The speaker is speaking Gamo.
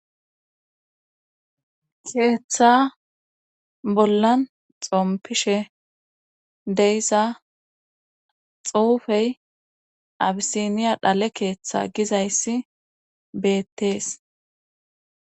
keeththa bollan xompishe deysa xuufey abisiniya dhale keeththa gizayssi beettees